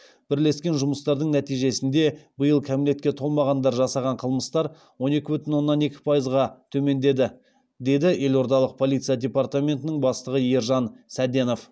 бірлескен жұмыстардың нәтижесінде биыл кәмелетке толмағандар жасаған қылмыстар он екі бүтін оннан екі пайызға төмендеді деді елордалық полиция департаментінің бастығы ержан сәденов